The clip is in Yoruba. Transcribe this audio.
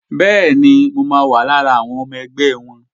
Bẹ́ẹ̀ni, mo wà lára àwọn ọmọ ẹgbẹ́ wọn